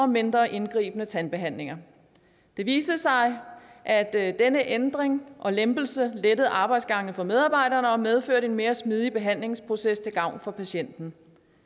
mindre indgribende tandbehandlinger det viste sig at at denne ændring og lempelse lettede arbejdsgangene for medarbejderne og medførte en mere smidig behandlingsproces til gavn for patienten